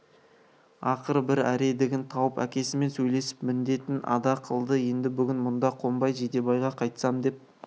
ақыры бір әредігін тауып әкесімен сөйлесіп міндетін ада қылды енді бүгін мұнда қонбай жидебайға қайтсам деп